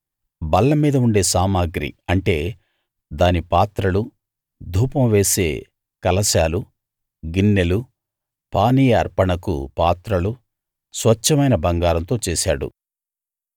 బల్లమీద ఉండే సామగ్రి అంటే దాని పాత్రలు ధూపం వేసే కలశాలు గిన్నెలు పానీయ అర్పణకు పాత్రలు స్వచ్ఛమైన బంగారంతో చేశాడు